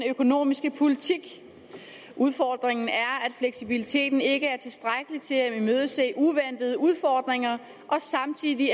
økonomiske politik udfordringen er at fleksibiliteten ikke er tilstrækkelig til at imødese uventede udfordringer og samtidig